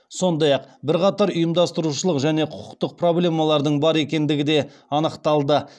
сондай ақ бірқатар ұйымдастырушылық және құқықтық проблемалардың бар екендігі де анықталды